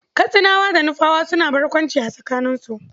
Katsinawa da Nufawa suna barkwanci a tsakaninsu.